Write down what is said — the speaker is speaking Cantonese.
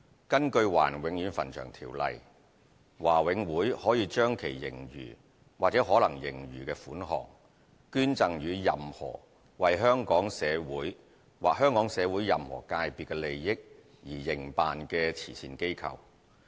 根據《華人永遠墳場條例》，華永會可將其盈餘或可能盈餘款項，捐贈予任何為香港社會或香港社會任何界別的利益而營辦的慈善機構。